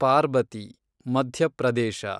Parbati, Madhya Pradesh